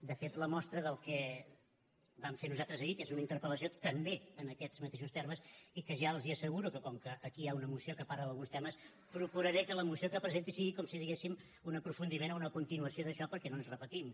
de fet la mostra del que vam fer nosaltres ahir que és una interpel·lació també en aquests mateixos termes i que ja els asseguro que com que aquí hi ha una moció que parla d’alguns temes procuraré que la moció que presenti sigui com si diguéssim un aprofundiment o una continuació d’això perquè no ens repetim